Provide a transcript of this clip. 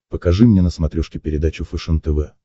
покажи мне на смотрешке передачу фэшен тв